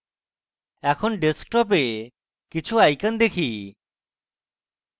এখন ডেস্কটপে কিছু icons দেখি